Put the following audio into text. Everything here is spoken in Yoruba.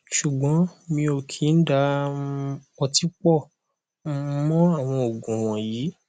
ṣùgbọn mi ò kì í da um ọtí pọ um mọ àwọn oogun wọnyí